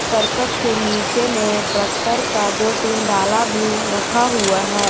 करकट के नीचे में ट्रैक्टर का दो तीन डाला भी रखा हुआ है।